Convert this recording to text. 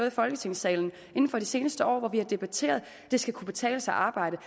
i folketingssalen inden for de seneste år og debatteret at det skal kunne betale sig at arbejde